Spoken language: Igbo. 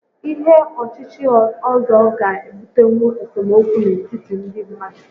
Ihé ochíchí ọ́zọ́ ga-ebutenwu esemokwu n'etiti ndị mmadụ